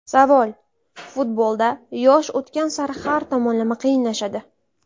Savol: Futbolda yosh o‘tgan sari har tomonlama qiyinlashadi.